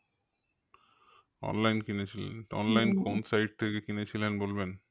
Online কিনেছিলেন কোন site থেকে কিনেছিলেন বলবেন?